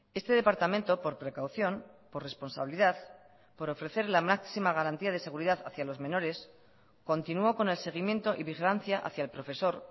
este departamento por precaución por responsabilidad por ofrecer la máxima garantía de seguridad hacia los menores continuó con el seguimiento y vigilancia hacia el profesor